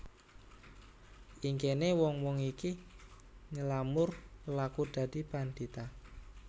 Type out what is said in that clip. Ing kene wong wong iki nylamur laku dadi pandhita